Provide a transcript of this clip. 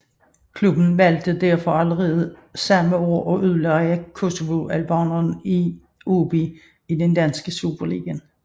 Klubben valgte derfor allerede samme år at udleje kosovoalbaneren til AaB i den danske Superliga